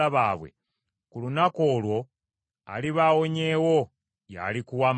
ku lunaku olwo aliba awonyeewo y’alikuwa amawulire.